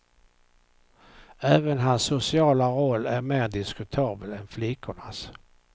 Även hans sociala roll är mer diskutabel än flickornas.